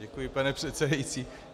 Děkuji, pane předsedající.